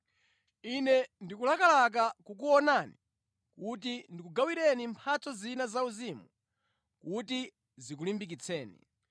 Ine ndikulakalaka kukuonani kuti ndikugawireni mphatso zina zauzimu kuti zikulimbikitseni